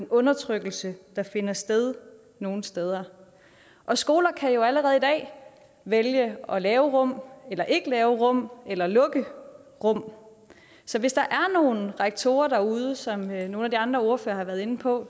undertrykkelse der finder sted nogle steder og skoler kan jo allerede i dag vælge at lave rum eller ikke lave rum eller lukke rum så hvis der er nogle rektorer derude der som nogle af de andre ordførere har været inde på